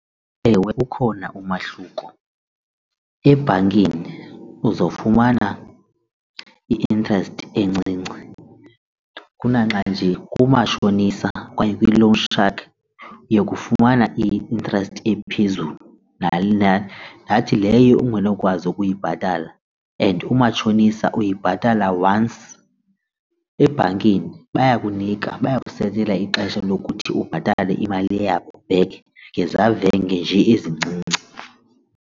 Ewe, ukhona umahluko, ebhankini uzofumana i-interest encinci kunaxa nje kumatshonisa okanye kwi-loan shark uyokufumana i-interest ephezulu leyo ungenokwazi ukuyibhatala and umatshonisa uyibhatala once ebhankini bayakunika bakusetele ixesha lokuthi ubhatale imali yabo back ngezavenge nje ezincinci.